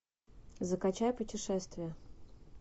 закачай путешествие